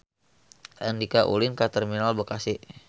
Andika ulin ka Terminal Bekasi